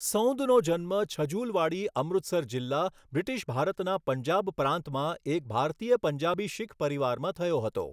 સૌંદનો જન્મ છજુલવાડી, અમૃતસર જિલ્લા, બ્રિટિશ ભારતના પંજાબ પ્રાંતમાં એક ભારતીય પંજાબી શીખ પરિવારમાં થયો હતો.